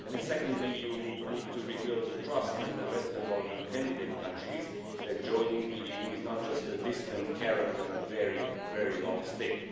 Second, you need to rebuild the trust in the Western Balkan candidate countries that joining the EU is not just a distant carrot on a very, very long stick.